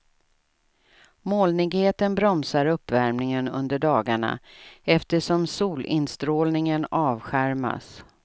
Molnigheten bromsar uppvärmningen under dagarna eftersom solinstrålningen avskärmas.